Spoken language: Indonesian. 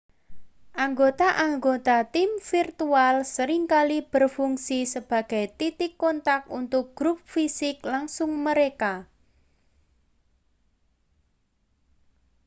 anggota-anggota tim virtual sering kali berfungsi sebagai titik kontak untuk grup fisik langsung mereka